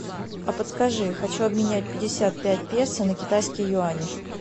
а подскажи хочу обменять пятьдесят пять песо на китайские юани